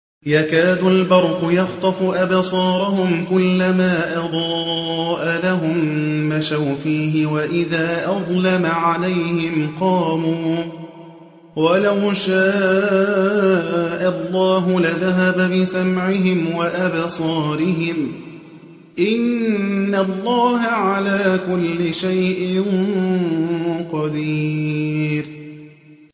يَكَادُ الْبَرْقُ يَخْطَفُ أَبْصَارَهُمْ ۖ كُلَّمَا أَضَاءَ لَهُم مَّشَوْا فِيهِ وَإِذَا أَظْلَمَ عَلَيْهِمْ قَامُوا ۚ وَلَوْ شَاءَ اللَّهُ لَذَهَبَ بِسَمْعِهِمْ وَأَبْصَارِهِمْ ۚ إِنَّ اللَّهَ عَلَىٰ كُلِّ شَيْءٍ قَدِيرٌ